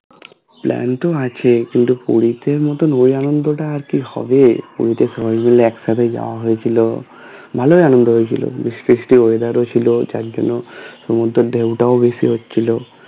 plan তো আছে কিন্তু পুরীতে মতোনা ওই আনন্দটা আর কি হবে পুরীতে সবাই মিলে একসাথে যাওয়া হয়েছিল ভালোই আনন্দ হয়েছিল বৃষ্টি বৃষ্টি weather ও ছিল চারদিনে তো ঢেউ টাও বেশি হচ্ছিল